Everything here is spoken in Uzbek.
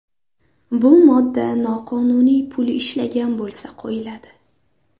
Bu modda noqonuniy pul ishlagan bo‘lsa qo‘yiladi.